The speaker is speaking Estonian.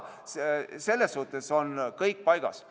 Selles suhtes on kõik paigas.